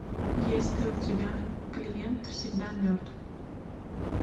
есть ли у тебя клиент всегда мертв